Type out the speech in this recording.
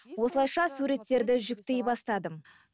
осылайша суреттерді жүктей бастадым